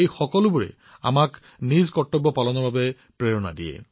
তেওঁলোক সকলোৱে আমাক আমাৰ কৰ্তব্য পালন কৰিবলৈ অনুপ্ৰাণিত কৰে